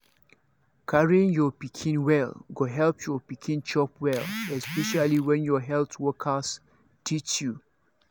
carrying your pikin well go help your pikin chop well especially when health workers teach you.